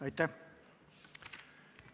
Aitäh!